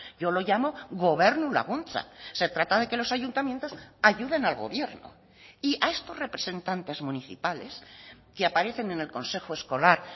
yo lo llamo gobernu laguntza se trata de que los ayuntamientos ayuden al gobierno y a estos representantes municipales que aparecen en el consejo escolar